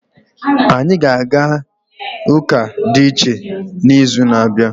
Anyị ga-aga ụka dị iche n'izu na-abịa.